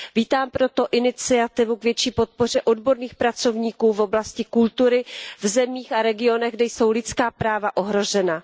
Vítám proto iniciativu k větší podpoře odborných pracovníků v oblasti kultury v zemích a regionech, kde jsou lidská práva ohrožena.